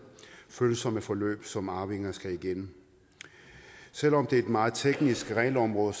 følsomme forløb som arvinger skal igennem selv om det er et meget teknisk regelområde